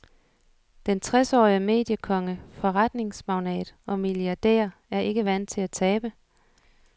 Den tresårige mediekonge, forretningsmagnat og milliardær er ikke vant til at tabe.